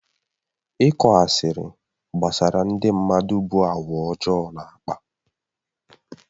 Ịkọ asịrị gbasara ndị mmadụ bụ àgwà ọjọọ na-akpa.